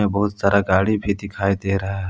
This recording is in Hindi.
बहुत सारा गाड़ी भी दिखाई दे रहा है।